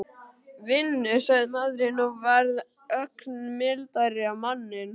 Vinnu? sagði maðurinn og varð ögn mildari á manninn.